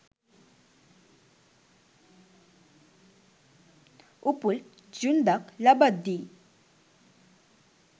උපුල් ඡුන්දක් ලබද්දී